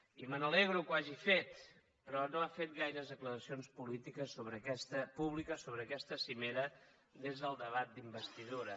i me n’alegro que ho hagi fet però no ha fet gaires declaracions públiques sobre aquesta cimera des del debat d’investidura